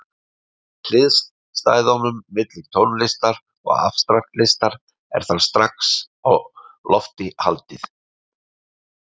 Hliðstæðunum milli tónlistar og afstrakt listar er þar strax á lofti haldið.